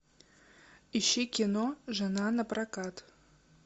ищи кино жена на прокат